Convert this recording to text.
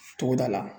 Togoda la